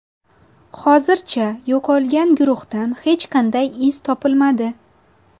Hozircha yo‘qolgan guruhdan hech qanday iz topilmadi.